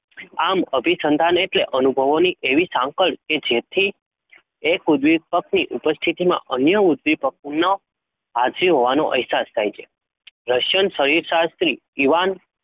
આમ અભિસંધાન એટલે અનુભવોની એવી સાંકળ કે જેથી એક ઉદ્દીપકની ઉપસ્થિતિમાં અન્ય ઉદ્દીપકનો હાજીર હોવાનો અહેસાસ થાય છે Russian શરીરશાસ્ત્રી Ivan